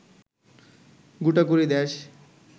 গোটাকুড়ি দেশ